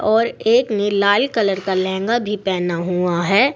और एक ने लाल कलर का लहंगा भी पहना हुआ है।